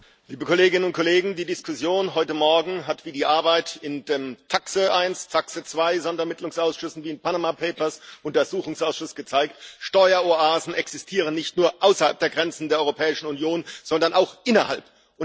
Frau Präsidentin, liebe Kolleginnen und Kollegen! Die Diskussion heute Morgen hat wie die Arbeit in den TAXE 1 und TAXE 2 Sonderermittlungsausschüssen, wie im Panama Papers Untersuchungsausschuss gezeigt Steueroasen existieren nicht nur außerhalb der Grenzen der Europäischen Union, sondern auch innerhalb.